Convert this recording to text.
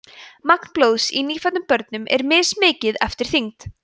magn blóðs í nýfæddum börnum er mismikið eftir þyngd